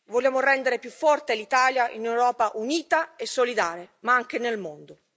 Vogliamo rendere più forte l'Italia in un'Europa unita e solidale ma anche nel mondo.